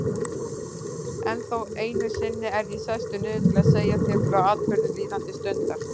Ennþá einu sinni er ég sestur niður til að segja þér frá atburðum líðandi stundar.